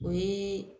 O ye